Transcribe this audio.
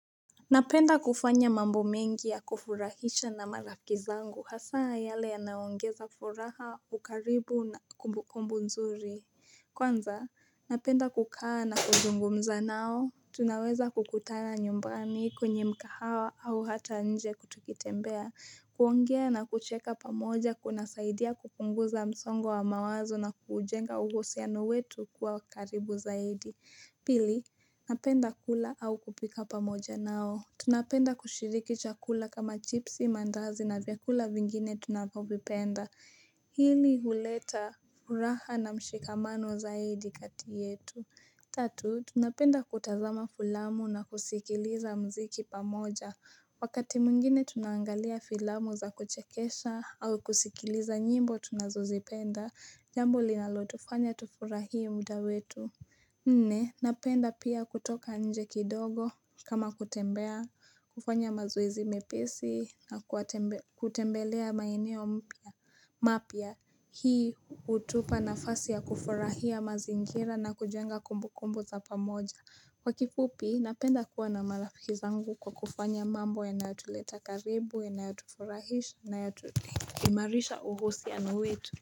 Napenda kufanya mambo mengi ya kufurahisha na marafiki zangu hasaa yale yanayo ongeza furaha, ukaribu na kumbukumbu nzuri. Kwanza, napenda kukaa na kuzungumza nao. Tunaweza kukutana nyumbani kwenye mkahawa au hata nje tukitembea. Kuongea na kucheka pamoja kuna saidia kupunguza msongo wa mawazo na kuujenga uhusiano wetu kuwa karibu zaidi. Pili, napenda kula au kupika pamoja nao. Tunapenda kushiriki chakula kama chipsi mandazi na vyakula vingine tunapovipenda. Hili huleta furaha na mshikamano zaidi katiyetu. Tatu, tunapenda kutazama filamu na kusikiliza muziki pamoja. Wakati mwingine tunaangalia filamu za kuchekesha au kusikiliza nyimbo tunazozipenda. Jambo linalotufanya tufurahie muda wetu. Nne napenda pia kutoka nje kidogo kama kutembea kufanya mazoezi mepesi na kutembelea maeneo mpya mapya hii hutupa nafasi ya kufurahia mazingira na kujenga kumbukumbu za pamoja Kwa kifupi napenda kuwa na marafiki zangu kwa kufanya mambo yanayotuleta karibu yanayotuforahisha na yanayo imarisha uhusiano wetu.